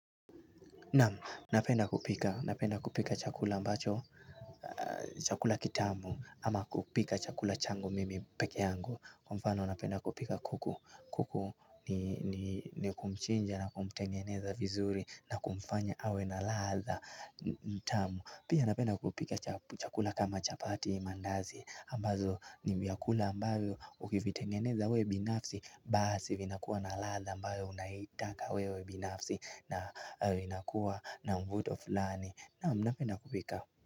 Naam, napenda kupika chakula kitamu ama kupika chakula changu mimi peke yangu. Kwa mfano napenda kupika kuku, kuku ni kumchinja na kumtengeneza vizuri na kumfanya awe na ladha tamu. Pia napenda kupika chakula kama chapati mandazi ambazo ni vyakula ambavyo ukivitengeneza wewe binafsi. Basi vinakuwa na ladha ambayo unaitaka wewe binafsi. Na vinakuwa na mvuto fulani. Naam napenda kupika.